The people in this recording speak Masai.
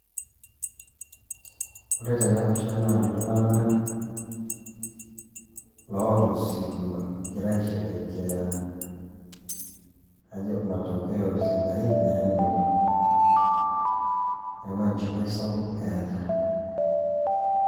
Ore tenapisha naa iltung'anak loota osirua, egira aisherekea kajo matokeo sidain nanoto. Neeku enchipai sapuk eeta.